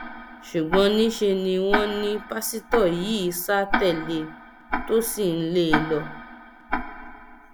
ṣùgbọn níṣẹ ni wọn ní pásítọ yìí sá tẹlé e tó sì ń lé e lọ